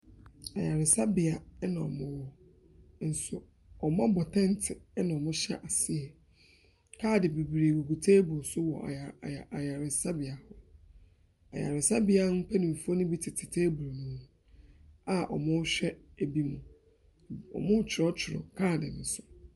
Ayaresabea na wɔwɔ, nanso wɔabɔ tɛnte na wɔhyɛ aseɛ. Kaade bebree gugu table so wɔ aya aya ayaresabea hɔ. Ayaresabea mpanimfoɔ no bi tete table no ho a wɔrehwɛ binom. Wɔretwerɛtwerɛ kaade no so.